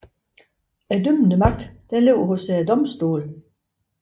Den dømmende magt ligger hos domstolene